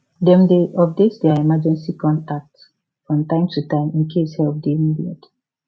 dem dey update their emergency contact from time to time in case help dey needed